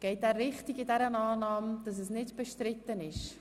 Geht er richtig in der Annahme, dass dies nicht bestritten ist?